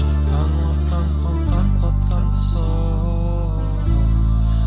жылатқан уатқан кауантқан қуантқан сол